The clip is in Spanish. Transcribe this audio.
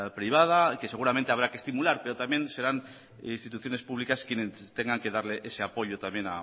privada que seguramente habrá que estimular pero también serán instituciones públicas quienes tengan que darle ese apoyo también